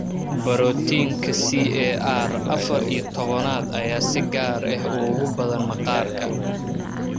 Barootiinka CAR afar iyo tobanad ayaa si gaar ah ugu badan maqaarka.